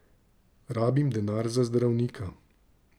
Rabim denar za zdravnika.